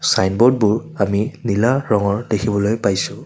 চাইনব'ডবোৰ আমি নীলা ৰঙৰ দেখিবলৈ পাইছোঁ।